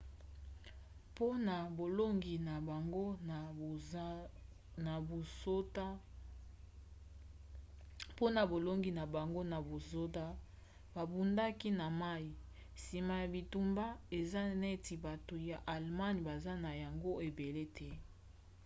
mpona bolongi na bango na basoda babundaka na mai nsima ya bitumba eza neti bato ya allemagne baza na yango ebele te